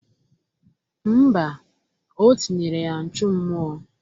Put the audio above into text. Mba, o tinyere ya nchụmụọ